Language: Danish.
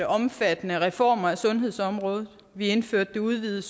omfattende reformer af sundhedsområdet vi indførte det udvidede